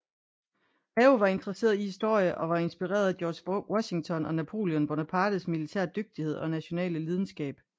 Mao var interesseret i historie og var inspireret af George Washington og Napoleon Bonapartes militære dygtighed og nationale lidenskab